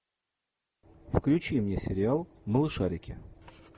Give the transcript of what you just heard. включи мне сериал малышарики